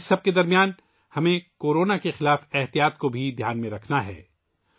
اس سب کے درمیان ہمیں کورونا کے خلاف احتیاطی تدابیر بھی اختیار کرنی ہیں